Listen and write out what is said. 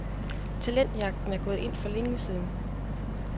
Talentjagten er gået ind for længe siden.